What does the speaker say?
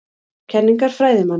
Kenningar fræðimanna.